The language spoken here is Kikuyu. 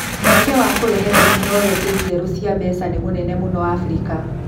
Mweke wa kũrehe tekinoronjĩ njerũ cia mbeca nĩ mũnene mũno Afrika